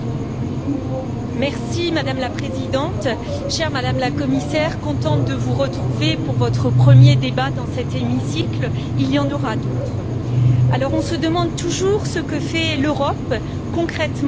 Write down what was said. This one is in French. Madame la Présidente, chère Madame la Commissaire, je suis contente de vous retrouver pour votre premier débat dans cet hémicycle, il y en aura d'autres. On se demande toujours ce que fait l'Europe concrètement pour ses citoyens.